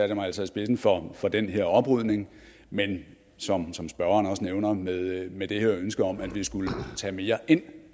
jeg mig altså i spidsen for for den her oprydning men som som spørgeren også nævner med med det her ønske om at vi skulle tage mere ind